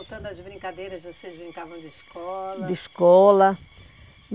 Voltando às brincadeiras, vocês brincavam de escola... De escola.